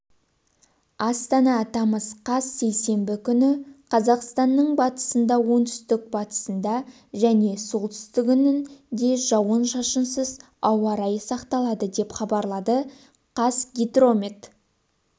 астана тамыз қаз сейсенбі күні қазақстанның батысында оңтүстік-батысында және солтүстігіндежауын-шашынсыз ауа райы сақталады деп хабарлады қазгидромет